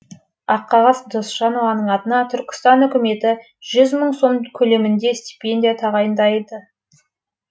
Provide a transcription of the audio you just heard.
аққағаз досжанованың атына түркістан үкіметі жүз мың сом көлемінде стипендия тағайындайды